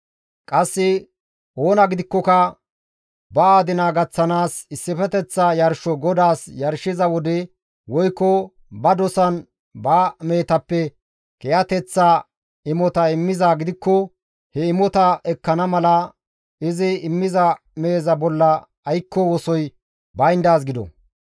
« ‹Qasse oona gidikkoka ba adina gaththanaas issifeteththa yarsho GODAAS yarshiza wode woykko ba dosan ba mehetappe kiyateththa imota immizaa gidikko he imotaa ekkana mala izi immiza meheza bolla aykko wosoy bayndaaz gido.